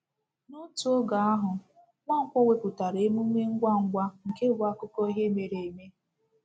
N’otu oge ahụ, Nwankwo wepụtara emume ngwa ngwa nke bụ akụkọ ihe mere eme.